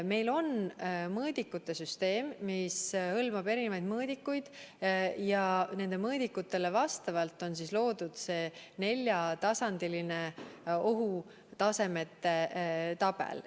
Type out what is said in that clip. Meil on mõõdikute süsteem, mis hõlmab erinevaid mõõdikuid, ja nendele mõõdikutele vastavalt on loodud see neljatasandiline ohutasemete tabel.